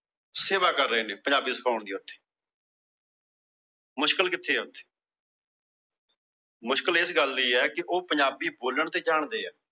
ਸੇਵਾ ਕਰ ਰਹੇ ਏਂ ਪੰਜਾਬੀ ਸਿਖਾਉਣ ਦੀ ਉੱਥੇ। ਮੁਸ਼ਕਿਲ ਕਿੱਥੇ ਏ ਉੱਥੇ। ਮੁਸ਼ਕਿਲ ਇਸ ਗੱਲ ਦੀ ਏ ਉਹ ਪੰਜਾਬੀ ਬੋਲਣ ਤਾਂ ਜਾਣਦੇ ਆ